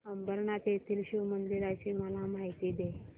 अंबरनाथ येथील शिवमंदिराची मला माहिती दे